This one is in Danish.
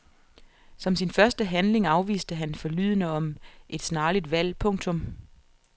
Som sin første handling afviste han forlydender om et snarligt valg. punktum